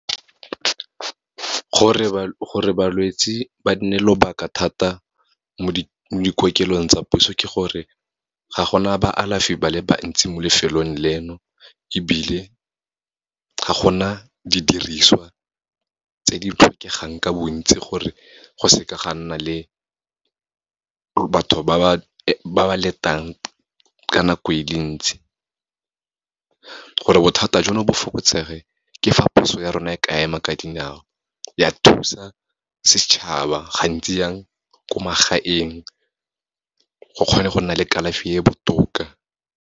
Gore balwetse ba nne lobaka thata mo dikokelong tsa puso, ke gore ga gona ba alafi ba le bantsi mo lefelong leno, ebile ga gona didiriswa tse di tlhokegang ka bontsi, gore go seka ga nna le batho ba ba letang ka nako e le ntsi. Gore bothata jono bo fokotsege, ke fa puso ya rona e ka ema ka dinao, ya thusa setšhaba gantsi jang, ko magaeng, go kgone go nna le kalafi e e botoka.